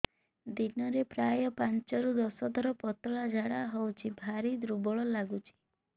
ଦିନରେ ପ୍ରାୟ ପାଞ୍ଚରୁ ଦଶ ଥର ପତଳା ଝାଡା ହଉଚି ଭାରି ଦୁର୍ବଳ ଲାଗୁଚି